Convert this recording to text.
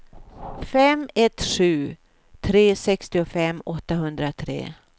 fem ett sju tre sextiofem åttahundratre